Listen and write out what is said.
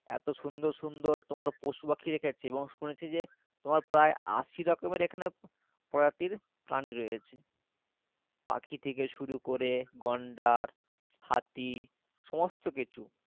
এত সুন্দর সুন্দর তোমার পশুপাখি রেখেছে এবং শুনেছি যে তোমার প্রায় আশি রকমের এখানে প্রজাতির প্রানী রয়েছে পাখি থেকে শুরু করে গণ্ডার হাতি সমস্ত কিছু